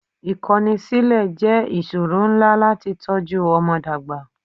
Ìkọ́ni sílẹ̀ jẹ́ ìṣòro ńlá láti tọ́jú ọmọ dàgbà.